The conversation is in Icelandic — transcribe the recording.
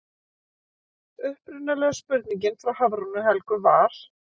Upprunalega spurningin frá Hafrúnu Helgu var: